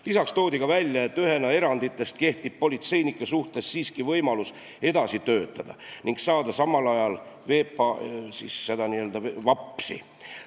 Lisaks toodi esile, et ühena eranditest kehtib politseinike suhtes siiski võimalus edasi töötada ning saada samal ajal VAPS-i.